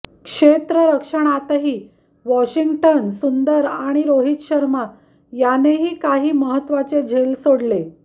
क्षेत्ररक्षणातही Washington Sundar आणि रोहित शर्मा यानेही काही महत्वाचे झेल सोडले